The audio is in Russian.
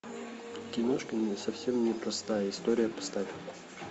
киношка совсем не простая история поставь